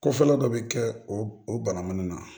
Ko fɔlɔ dɔ bɛ kɛ o o banamun na